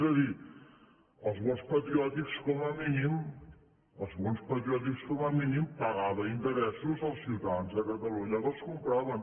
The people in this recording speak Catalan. és a dir els bons patriòtics com a mínim els bon patriòtics com a mínim pagaven interessos als ciutadans de catalunya que els compraven